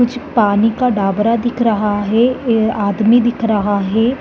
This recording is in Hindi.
कुछ पानी का डाबरा दिख रहा है ये आदमी दिख रहा हैं।